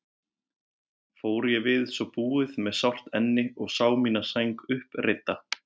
Fór ég við svo búið með sárt enni og sá mína sæng uppreidda.